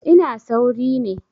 I was in a hurry